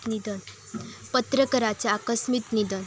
पत्रकाराचे आकस्मित निधन